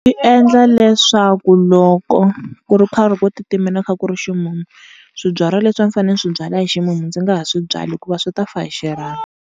Swi endla leswaku loko ku ri karhi ku titimela kha ku ri ximumu, swibyariwa leswi a swi fanele swi byariwa hi ximumu ndzi nga ha swi byali hikuva swi ta fa hi xirhami.